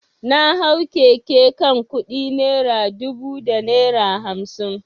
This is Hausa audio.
Na hau keke kan kudi naira dubu da naira hamsin.